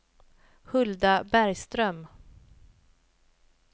Hulda Bergström